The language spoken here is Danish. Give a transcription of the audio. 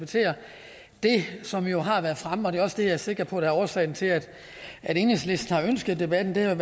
som jo har været fremme og det er også det jeg er sikker på er årsagen til at enhedslisten har ønsket debatten det er